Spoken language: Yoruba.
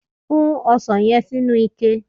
Fún osàn yen sí inú ike